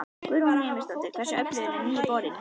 Guðrún Heimisdóttir: Hversu öflugur er nýi borinn?